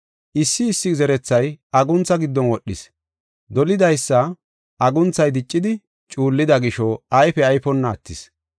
Issi issi zerethay aguntha giddon wodhis. Dolidaysa agunthay diccidi cuullida gisho ayfe ayfonna attis.